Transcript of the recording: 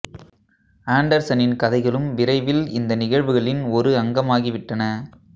ஆன்டர்சனின் கதைகளும் விரைவில் இந்த நிகழ்வுகளின் ஒரு அங்கமாகி விட்டன